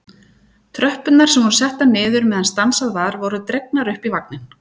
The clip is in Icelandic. Tröppurnar sem voru settar niður meðan stansað var voru dregnar upp í vagninn.